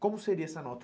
Como seria essa nota?